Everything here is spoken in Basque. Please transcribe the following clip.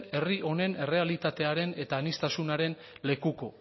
herri honen errealitatearen eta aniztasunaren lekuko